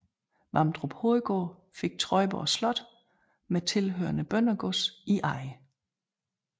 Vamdrup Hovedgård fik Trøjborg Slot med tilhørende bøndergods i eje